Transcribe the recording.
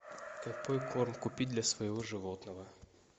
какой корм купить для своего животного